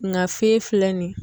Nka fee filɛ nin ye.